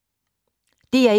DR1